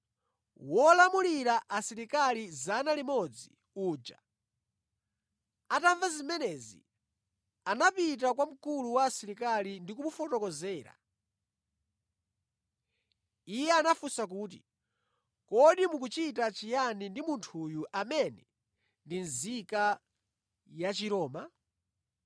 Wolamulira asilikali 100 uja atamva zimenezi, anapita kwa mkulu wa asilikali ndi kumufotokozera. Iye anafunsa kuti, “Kodi mukuchita chiyani ndi munthuyu amene ndi nzika ya Chiroma?”